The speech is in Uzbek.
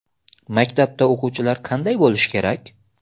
Maktabda o‘quvchilar qanday bo‘lishi kerak?